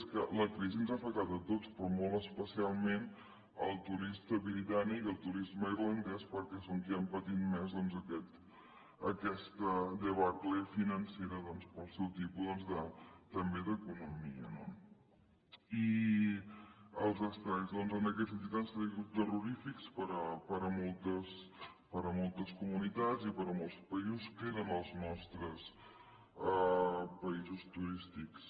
és que la crisi ens ha afectat a tots però molt especialment el turisme britànic i el turisme irlandès perquè són qui han patit més aquesta debacle financera pel seu tipus també d’economia no i els estralls en aquest sentit han sigut terrorífics per a moltes comunitats i per a molts països que eren els nostres països turístics